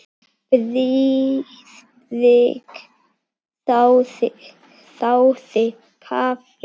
Friðrik þáði kaffi.